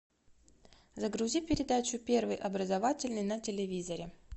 загрузи передачу первый образовательный на телевизоре